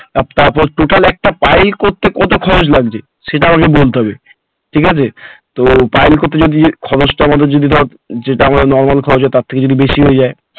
আর তারপর total একটা pile করতে কত খরচ লাগছে সেটাও আমাকে বলতে হবে ঠিকাছে তো pile করতে যদি খরচ টা আমাদের যদি ধর যেটা আমাদের normal খরচ হয় তার থেকে যদি বেশি হয়ে যায়